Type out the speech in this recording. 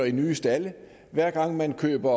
i nye stalde og hver gang man køber